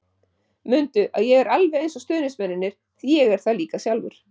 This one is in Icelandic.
Mundu að ég er alveg eins og stuðningsmennirnir því ég er það líka sjálfur.